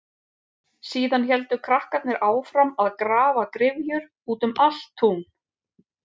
Síðan héldu krakkarnir áfram að grafa gryfjur út um allt tún.